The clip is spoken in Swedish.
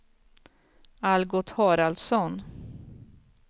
Algot Haraldsson